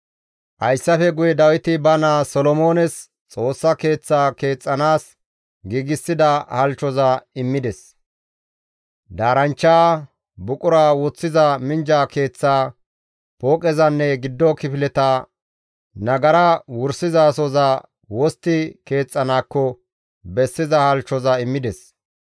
Hayssafe guye Dawiti ba naa Solomoones Xoossa Keeththa keexxanaas giigsida halchchoza immides; daaranchcha, buqura woththiza minjja keeththa, pooqezanne giddo kifileta, nagara wursizasoza wostti keexxanaakko bessiza halchchoza immides.